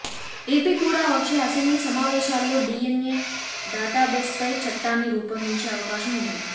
AP కూడా వచ్చే assembly సమావేశాల్లో డిఎన్ఏ డాటాబేస్పై చట్టాన్ని రూపొందించే అవకాశం ఉంది